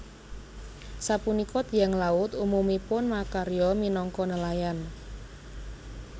Sapunika tiyang laut umumipun makarya minangka nelayan